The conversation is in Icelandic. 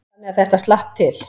Þannig að þetta slapp til.